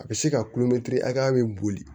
A bɛ se ka kulomɛtiri hakɛya bɛ boli